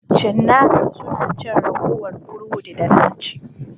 Cinnaka suna cin ragowar burodi da na ci.